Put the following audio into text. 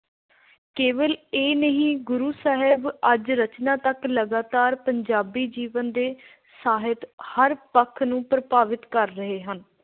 ਕੇਵਲ ਇਹ ਹੀ ਨਹੀਂ ਗੁਰੂ ਸਾਹਿਬ ਅੱਜ ਰਚਨਾਤਕ ਲਗਾਤਾਰ ਪੰਜਾਬੀ ਜੀਵਨ ਤੇ ਸਾਹਿਤ ਦੇ ਹਰ ਪੱਖ ਨੂੰ ਪ੍ਰਭਾਵਿਤ ਕਰ ਰਹੇ ਹਨ।